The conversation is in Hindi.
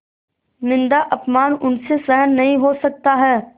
निन्दाअपमान उनसे सहन नहीं हो सकता है